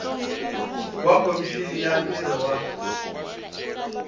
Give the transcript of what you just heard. wa khomixini ya ntirho wa